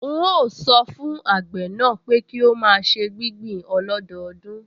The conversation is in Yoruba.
N óò sọ fún àgbẹ̀ náà pé kí ó máa ṣe gbígbìn ọlọ́dọọdún